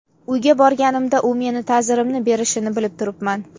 Uyga borganimda u meni ta’zirimni berishini bilib turibman.